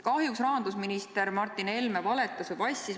Kahjuks rahandusminister Martin Helme valetas või passis.